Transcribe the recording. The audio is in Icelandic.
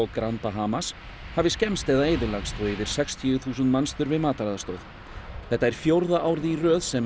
grand Bahamas hafi skemmst eða eyðilagst og yfir sextíu þúsund manns þurfi mataraðstoð þetta er fjórða árið í röð sem